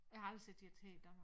Jeg har aldrig set et her i Danmark